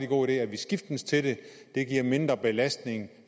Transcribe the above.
god idé at vi skiftes til det det giver mindre belastning